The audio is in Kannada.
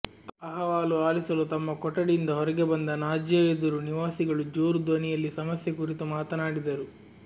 ಅಹವಾಲು ಆಲಿಸಲು ತಮ್ಮ ಕೊಠಡಿಯಿಂದ ಹೊರಗೆ ಬಂದ ನಾಜಿಯಾ ಎದುರು ನಿವಾಸಿಗಳು ಜೋರು ದನಿಯಲ್ಲಿ ಸಮಸ್ಯೆ ಕುರಿತು ಮಾತನಾಡಿದರು